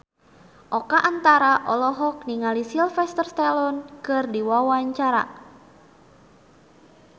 Oka Antara olohok ningali Sylvester Stallone keur diwawancara